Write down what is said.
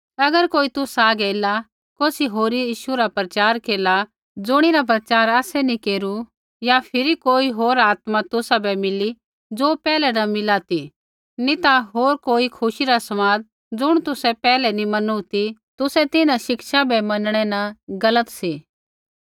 अगर कोई तुसा हागै ऐला कौसी होरी यीशु रा प्रचार केरला ज़ुणिरा प्रचार आसै नैंई केरू या फिरी कोई होर आत्मा तुसाबै मिली ज़ो पैहलै न मिला ती नी ता होर कोई खुशी रा समाद ज़ुण तुसै पैहलै नी मैनू ती तुसै तिन्हां शिक्षा बै मनणै न गलत सी